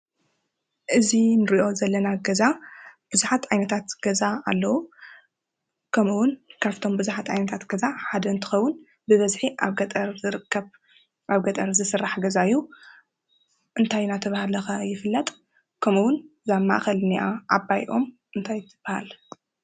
እዚ እንሪኦ ዘለና ገዛ ብዙሓት ዓይነታት ገዛ አለው። ከምኡ እውን ካብቶም ብዙሓት ዓይነታት ገዛ ሓደ እንትከውን ብበዝሒ አብ ገጠር ዝርከብ አብ ገጠር ዝስራሕ ገዛ እዩ። እንታይ እናተባሃለ ከ ይፍለጥ? ከምኡ እውን እዛ አብ ማእከል ዝንኣ ዓባይ ኦም ታይ ትበሃል?